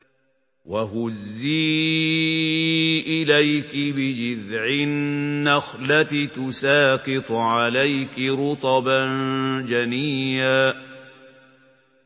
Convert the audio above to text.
وَهُزِّي إِلَيْكِ بِجِذْعِ النَّخْلَةِ تُسَاقِطْ عَلَيْكِ رُطَبًا جَنِيًّا